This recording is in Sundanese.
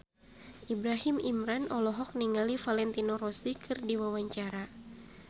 Ibrahim Imran olohok ningali Valentino Rossi keur diwawancara